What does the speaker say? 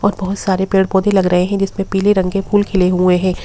और बहुत सारे पेड़ पौधे लग रहे हैं जिसमें पीले रंग के फूल खिले हुए हैं।